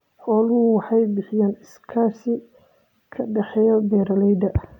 Xooluhu waxay bixiyaan iskaashi ka dhexeeya beeralayda.